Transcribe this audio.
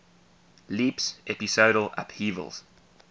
leaps episodal upheavals